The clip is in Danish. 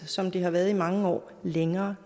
som det har været i mange år længere